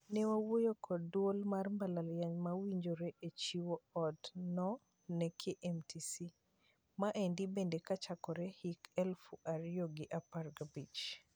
"Ne wawuoyo kod duol mar mbalariany ma wawinjore e chiwo od no ne KMTC. Maendi bende kachakore hik eluf ario gi apar gabich